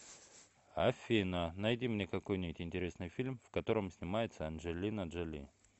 афина найди мне какой нибудь интересный фильм в котором снимается анджелина джоли